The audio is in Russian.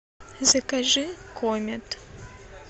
закажи комет